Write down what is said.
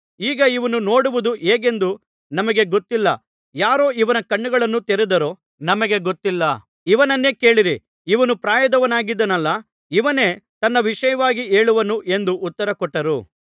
ಈಗ ಇವನು ನೋಡುವುದು ಹೇಗೆಂದು ನಮಗೆ ಗೊತ್ತಿಲ್ಲ ಯಾರು ಇವನ ಕಣ್ಣುಗಳನ್ನು ತೆರೆದರೋ ನಮಗೆ ಗೊತ್ತಿಲ್ಲ ಇವನನ್ನೇ ಕೇಳಿರಿ ಇವನು ಪ್ರಾಯದವನಾಗಿದ್ದಾನಲ್ಲಾ ಇವನೇ ತನ್ನ ವಿಷಯವಾಗಿ ಹೇಳುವನು ಎಂದು ಉತ್ತರಕೊಟ್ಟರು